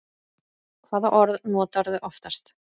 Hvaða orð notarðu oftast?